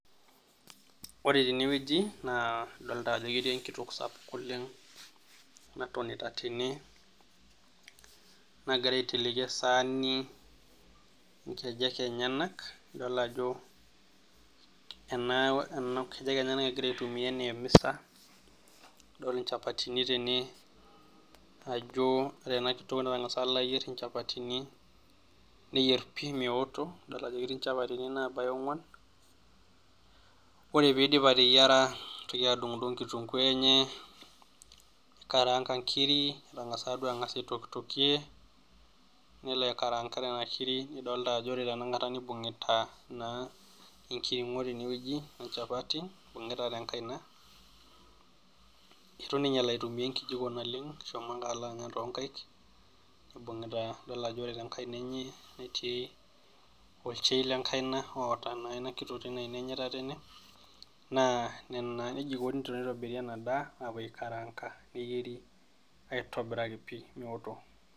Ore tenewueji naa adolta ajo ketii enkitok sapuk oleng natonita tene , nagira aiteleki esaani nkejek enyenak idol ajo nkejek enyenak egira aitumia anaa emisa , adol nchapatini tene , ajo ore ena kitok tengasa alo ayier nchapatini , neyier pi meoto , idol ajo ketii nchapatini nabaya ongwan . Ore piidip ateyiera , nitoki adungdung kitunguu enye , nikaranka nkiri, etangasa duo angas aitokitokie , nelo aikaranka nena kiri, nidolta ajo ore tenakata nibungita naa enkiringo tene wueji wenchapati ibungita tenkaina , itu ninye elo aitumia enkijiko naleng , eshomo ake alo anya toonkaik , nibungita idol ajo ore tenkaina enye , netii olchain lenkaina oota naa inakitok tina aina enye etatene naa nena, neji eikoni tenitobiri ena daa apuo aikaranka , neyieri aitobiraki pi meoto.